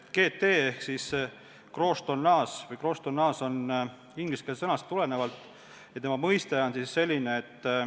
See GT ehk siis gross tonnage on ingliskeelne termin.